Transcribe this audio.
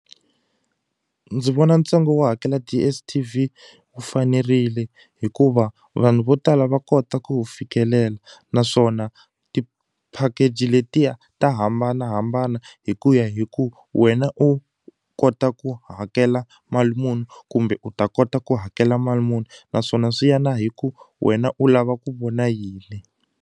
Ndzi vona ntsengo wo hakela DSTV wu fanerile hikuva vanhu vo tala va kota ku wu fikelela naswona ti-package letiya ta hambanahambana hi ku ya hi ku wena u kota ku hakela mali muni kumbe u ta kota ku hakela mali muni naswona swi ya na hi ku wena u lava ku vona yini.